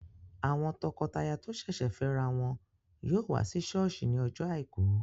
Àwọn tọkọtaya tó sẹ̀sẹ̀ fẹ́ ra wọn yóò wá sí sọ́ọ̀sì ní ọjọ́ àìkú